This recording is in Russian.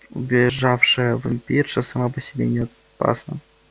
убежавшая вампирша сама по себе не опасна